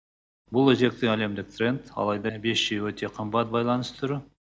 бұл өзекті әлемдік тренд алайда бес джи өте қымбат байланыс түрі